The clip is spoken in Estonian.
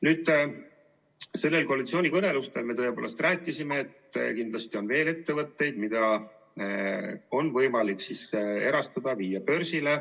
Nendel koalitsioonikõnelustel me tõepoolest rääkisime, et kindlasti on veel ettevõtteid, mida on võimalik erastada, viia börsile.